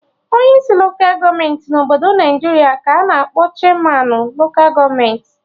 Onyi isi loka gọọmenti na obodo Naijiria ka a-na akpọ Chairmanụ loka gọọmenti